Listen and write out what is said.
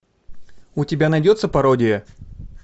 у тебя найдется пародия